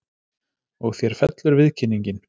Og þér fellur viðkynningin?